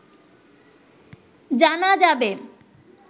জানা যাবে